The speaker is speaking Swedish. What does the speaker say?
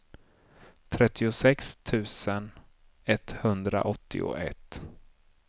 trettiosex tusen etthundraåttioett